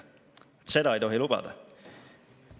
Seda ei tohi lubada.